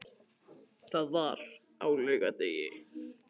Það var á laugardegi.